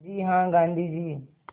जी हाँ गाँधी जी